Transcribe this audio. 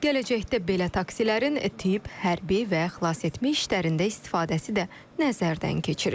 Gələcəkdə belə taksilərin tibb, hərbi və xilasetmə işlərində istifadəsi də nəzərdən keçirilir.